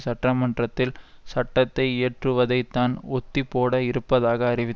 சட்ட மன்றத்தில் சட்டத்தை இயற்றுவதை தான் ஒத்திப்போட இருப்பதாக அறிவி